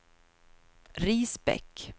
Risbäck